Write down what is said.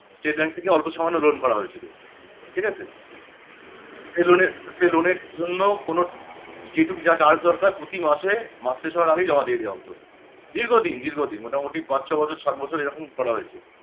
state bank থেকে অল্প সামান্য loan করা হয়েছিল ঠিক আছে? সেই loan এর সেই loan এর জন্য কোনো যেটুকু যা সাহায্য দরকার প্রতি মাস এ মাস শেষ হওয়ার আগে জমা দিয়ে দেওয়া হতো. দীর্ঘদিন দীর্ঘদিন মোটামুটি পাঁচ ছয় বছর সাত বছর এরকম করা হয়েছে